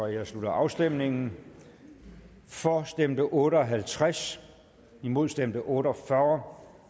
jeg slutter afstemningen for stemte otte og halvtreds imod stemte otte og fyrre